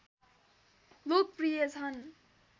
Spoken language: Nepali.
लोकप्रिय छन्